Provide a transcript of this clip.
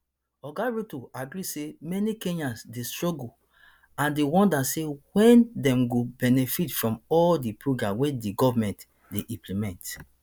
oga ruto agree say many kenyans dey struggle and dey wonder say wen dem go benefit from all di program wey di government dey implement